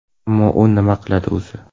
Ammo u nima qildi o‘zi?